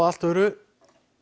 allt öðru